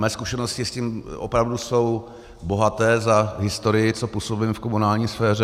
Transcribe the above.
Mé zkušenosti s tím opravdu jsou bohaté za historii, co působím v komunální sféře.